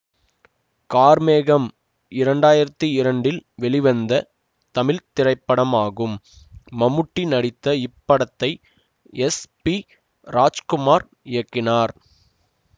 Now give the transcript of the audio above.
கார்மேகம் இரண்டாயிரத்தி இரண்டில் வெளிவந்த தமிழ் திரைப்படமாகும் மம்முட்டி நடித்த இப்படத்தை எஸ் பி ராஜ்குமார் இயக்கினார்